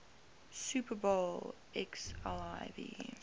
super bowl xliv